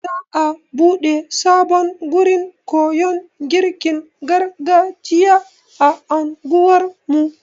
Za'a buɗe sabon gurin koyon girkin gargajiya a anguwar mu.